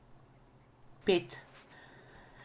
Pet.